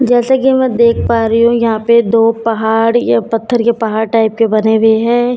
जैसे कि मैं देख पा रही हूं यहां पर दो पहाड़ या पत्थर के पहाड़ टाइप के बने हुए हैं एक --